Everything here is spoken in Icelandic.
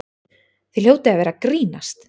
Þið hljótið að vera að grínast!